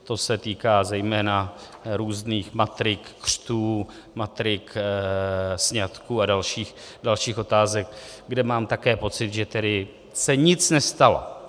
To se týká zejména různých matrik křtů, matrik sňatků a dalších otázek, kde mám také pocit, že tedy se nic nestalo.